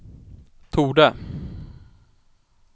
torde